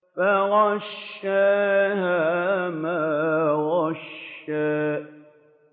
فَغَشَّاهَا مَا غَشَّىٰ